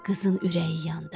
Qızın ürəyi yandı.